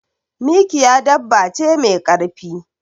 Mikiya dabba ce me karfi.